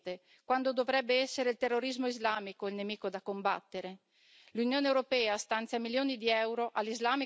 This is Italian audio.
L'Unione europea stanzia milioni di euro all'islamica Turchia ma si dimentica di etichettarla per l'occupazione di Cipro.